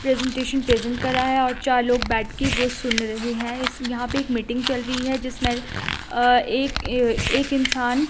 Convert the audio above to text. presentation present कर रहा है और चार लोग बैठ के वो सुन रहे हैं इस यहां पे एक मीटिंग चल रही है जिसमें अह एक एह एक इंसान--